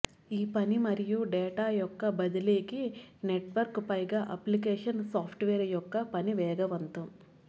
ఈ పని మరియు డేటా యొక్క బదిలీకి నెట్వర్క్ పైగా అప్లికేషన్ సాఫ్ట్వేర్ యొక్క పని వేగవంతం